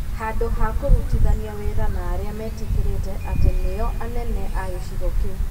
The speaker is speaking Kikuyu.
Handũ ha kũrutithania wĩra na arĩa metĩkĩrĩkĩte atĩ nĩo anene a gĩcigo kĩu.